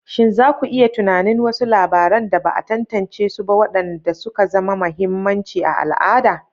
Shin za ku iya tunanin wasu labaran da ba a tantance su ba waɗanda suka zama mahimmanci a al'ada?